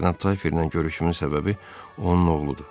Cənab Tayferlə görüşümün səbəbi onun oğludur.